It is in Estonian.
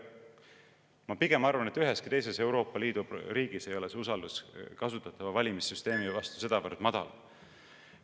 Ma pigem arvan, et üheski teises Euroopa Liidu riigis ei ole usaldus kasutatava valimissüsteemi vastu sedavõrd madal.